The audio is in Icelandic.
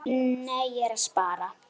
Nei, ég er að spara.